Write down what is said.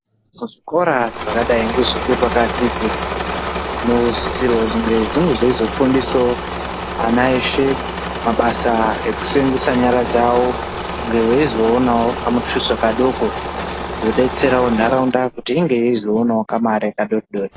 Zvikora zvakadayi ngezvepakatizvo zvinosisirwe zveizofundisa ana eshe mabasa ekuseenzesa nyara dzawo kuti vazoonawo kamutuso kadoko zvinodetserawo nharaunda kuti inge izoonawo kamari kadoridori